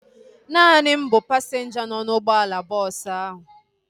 Naani m bụ pasinja nọ n'ụgbọala bọọsu ahu